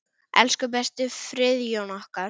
Elsku besti Friðjón okkar.